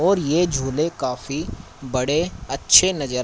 और ये झूले काफी बड़े अच्छे नजर--